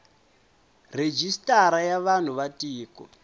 rejistara ya vanhu va tiko